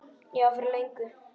Já, fyrir löngu.